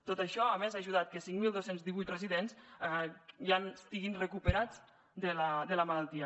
tot això a més ha ajudat que cinc mil dos cents i divuit residents ja estiguin recuperats de la malaltia